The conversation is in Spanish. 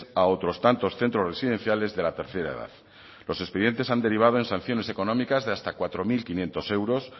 a otros tantos centros residenciales de la tercera edad los expedientes han derivado en sanciones económicas de hasta cuatro mil quinientos euros